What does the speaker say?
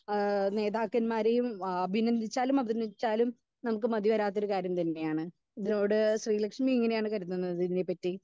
Speaker 2 ഏഹ് നേതാക്കന്മാരെയും ഏഹ് അഭിനന്ദിച്ചാൽ അതുവധിച്ചാലും നമ്മുക്ക് മതി വരാത്തൊരു കാര്യം തന്നെയാണ് ഇത്‍ളോട് ശ്രീ ലക്ഷ്മി എങ്ങനെയാണ് കരുതുന്നത് ഇതിനെ പറ്റി?